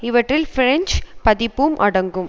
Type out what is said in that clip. இவற்றில் பிரெஞ்சு பதிப்பும் அடங்கும்